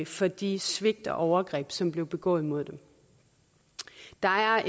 for de svigt og overgreb som blev begået mod dem der er